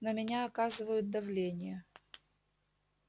на меня оказывают давление